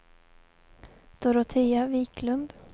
Dorotea Wiklund